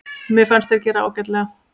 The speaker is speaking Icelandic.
Mér fannst þeir gera ágætlega.